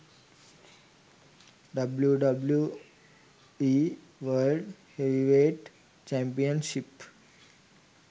wwe world heavyweight championship